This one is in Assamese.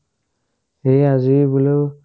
এ আজিয়ে বোলো